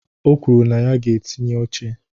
O kwuru na ya ga-etinye oche.